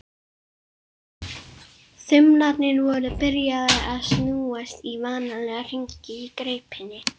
Þumlarnir voru byrjaðir að snúast í vanalega hringi í greipinni.